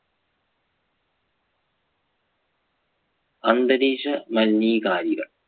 അന്തരീക്ഷ മലിനീകാരിക